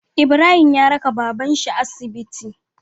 Ibrahim ya raka baban shi asibiti